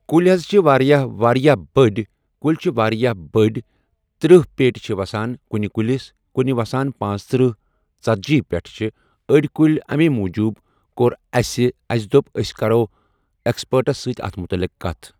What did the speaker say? کُلۍ حظ چھِ واریاہ واریاہ بٔڑۍ کُلۍ چھِ واریاہ بٔڑۍ ترٕٛہ پیٹہِ چھِ وَسان کُنہِ کُلس کُنہِ وَسان پانٛژترٕٛہ ژتَجی پیٹہِ چھِ أڑۍ کُلۍ امے موٗجوٗب کوٚر اَسہِ اَسہِ دوٚپ أسۍ کَرو ایکسپٲٹس سۭتۍ اتھ مُتلِق کَتھ نا۔